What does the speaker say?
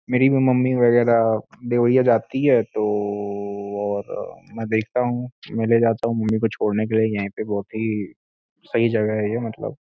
मेरी मम्मी वगैरह देवरिया जाती है तो ओ और मै देखता हूँ मैं ले जाता हूँ मम्मी को छोड़ने के लिए यहीं पे बहुत ही सही जगह है मतलब।